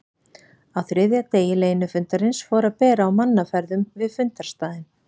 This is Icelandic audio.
Á þriðja degi leynifundarins fór að bera á mannaferðum við fundarstaðinn.